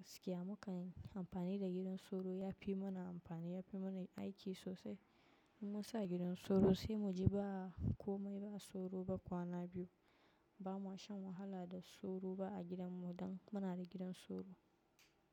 Gaskiya mukan yi amfani da gidan soro ya fi mana amfani, ya fi mana aiki sosai. In mun sa gidan soro sai mu ji ba komai ba soro ba kwana biyu. Ba mu shan wahala da soro ba a gidan mu dan muna da gidan soro.